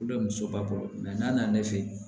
muso ba kɔrɔ n'a nana ne fɛ yen